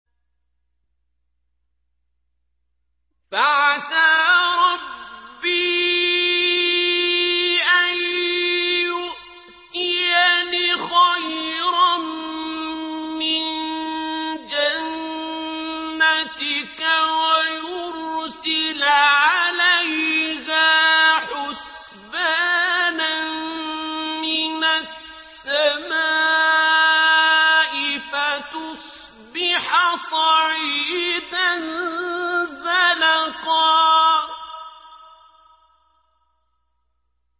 فَعَسَىٰ رَبِّي أَن يُؤْتِيَنِ خَيْرًا مِّن جَنَّتِكَ وَيُرْسِلَ عَلَيْهَا حُسْبَانًا مِّنَ السَّمَاءِ فَتُصْبِحَ صَعِيدًا زَلَقًا